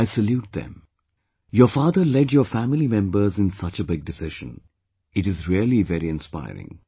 I salute them...your father led your family members in such a big decision, it is really very inspiring